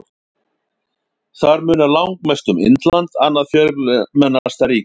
Þar munar langmest um Indland, annað fjölmennasta ríki heims.